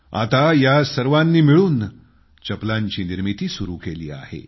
आता या सर्वांनी मिळून चप्पलांची निर्मिती सुरू केली आहे